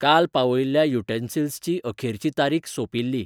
काल पावयिल्ल्या युटेन्सिल्सची अखेरची तारीख सोंपिल्ली.